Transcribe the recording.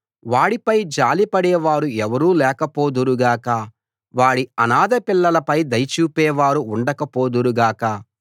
వాడిపై జాలిపడే వారు ఎవరూ లేకపోదురు గాక వాడి అనాథ పిల్లల పై దయ చూపేవారు ఉండక పోదురు గాక